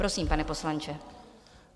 Prosím, pane poslanče.